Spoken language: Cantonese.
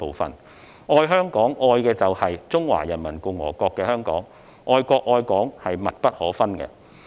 因此，"愛香港"，愛的就是中華人民共和國的香港，愛國愛港是密不可分的。